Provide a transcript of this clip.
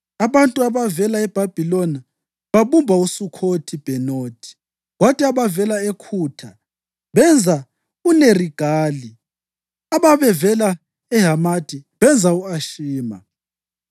Abantu ababevela eBhabhiloni babumba uSukhothi-Bhenothi, kwathi ababevela eKhutha benza uNerigali, ababevela eHamathi benza u-Ashima,